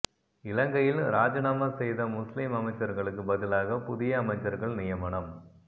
இலங்கையில் ராஜிநாமா செய்த முஸ்லிம் அமைச்சர்களுக்கு பதிலாக புதிய அமைச்சர்கள் நியமனம்